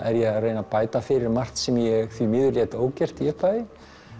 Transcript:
er ég að reyna að bæta fyrir margt sem ég því miður lét ógert í upphafi